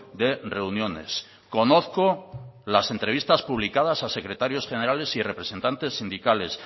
de reuniones conozco las entrevistas publicadas a secretarios generales y representantes sindicales